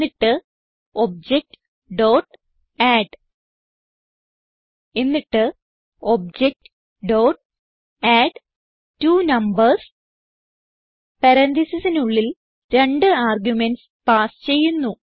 എന്നിട്ട് objഅഡ് എന്നിട്ട് objഅഡ്ട്വണംബർസ് പരാൻതീസിസിനുള്ളിൽ രണ്ട് ആർഗുമെന്റ്സ് പാസ് ചെയ്യുന്നു